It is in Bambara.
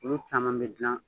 Olu caman bɛ dilan